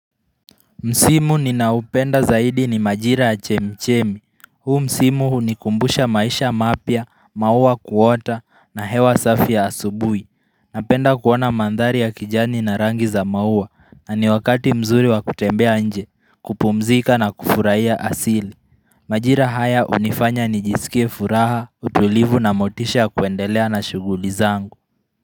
Msimu ninaoupenda zaidi ni majira ya chemichemi, huu Msimu hunikumbusha maisha mapya, maua kuota na hewa safi ya asubuhi, napenda kuona mandhari ya kijani na rangi za maua na ni wakati mzuri wa kutembea nje kupumzika na kufurahia asili Majira haya hunifanya nijisikie furaha, utulivu na motisha kuendelea na shughuli zangu.